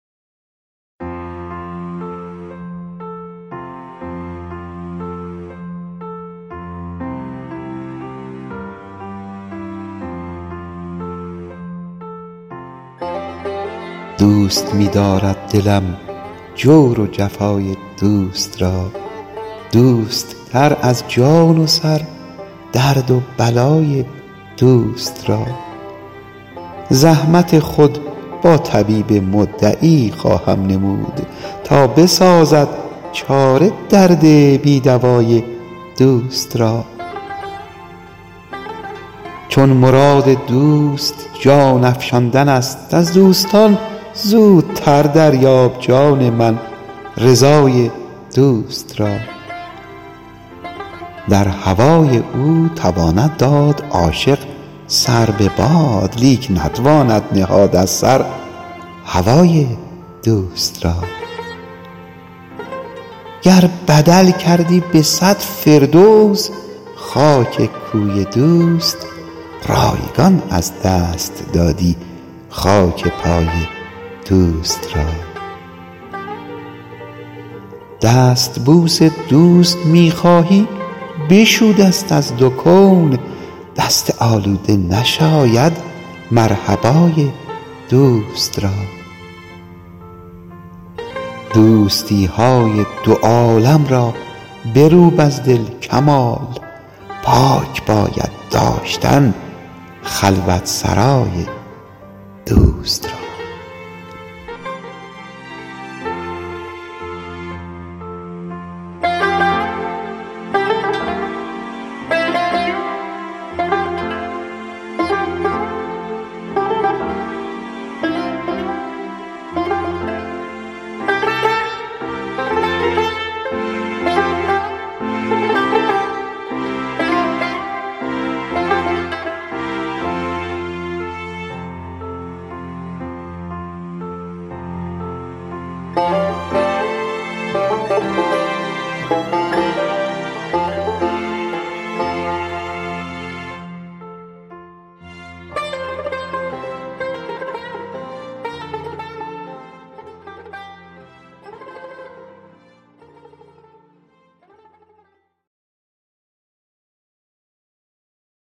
دوست می دارد دلم جور و جفای دوست را دوست تر از جان و سر درد و بلای دوست را زحمت خود با طبیب مدعی خواهم نمود تا بسازد چاره درد بی دوای دوست را چون مراد دوست جان افشاندن است از دوستان زودتر دریاب جان من رضای دوست را در هوای او تواند داد عاشق سر به باد لیک نتواند نهاد از سر هوای دوست را گر بدل کردی بصد فردوس خاک کوی دوست رایگان از دست دادی خاک پای دوست را دستبوس دوست می خواهی بشو دست از دو کون دست آلوده نشاید مرحبای دوست را دوستی های دو عالم را بروب از دل کمال پاک باید داشتن خلوت سرای دوست را